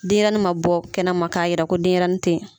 Denyɛnin ma bɔ kɛnɛma k'a yira ko denyɛrɛnin te ye.